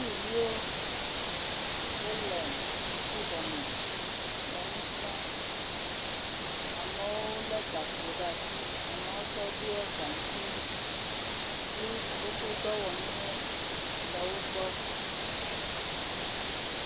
Sukuviwo wole xɔme le nu srɔ̃, amewo lé gakpo ɖe asi, amewo tsɛ woɖɔ gaŋkui kpli woƒe dɔwɔnuwo le wo gbɔ.